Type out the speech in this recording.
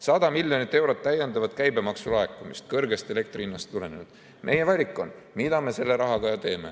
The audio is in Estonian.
100 miljonit eurot täiendavat käibemaksu laekumist elektri kõrgest hinnast tulenevalt – meie valik on, mida me selle rahaga teeme.